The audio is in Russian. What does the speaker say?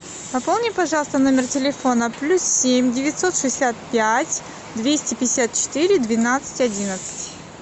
пополни пожалуйста номер телефона плюс семь девятьсот шестьдесят пять двести пятьдесят четыре двенадцать одиннадцать